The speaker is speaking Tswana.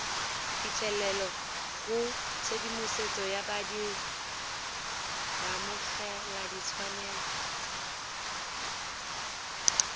phitlhelelo go tshedimosetso ya baamogeladitshwanelo